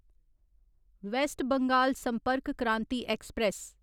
waste Bengal Sampark Kranti express